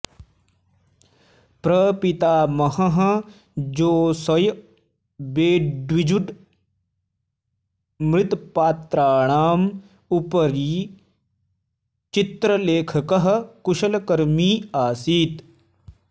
प्रपितामहः Josiah Wedgwood मृत्पात्राणाम् उपरि चित्रलेखकः कुशलकर्मी आसीत्